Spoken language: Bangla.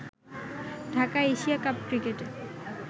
ঢাকায় এশিয়া কাপ ক্রিকেটে